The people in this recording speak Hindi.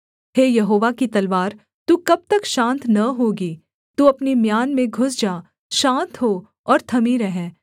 हे यहोवा की तलवार तू कब तक शान्त न होगी तू अपनी म्यान में घुस जा शान्त हो और थमी रह